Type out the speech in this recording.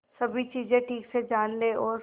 सभी चीजें ठीक से जान ले और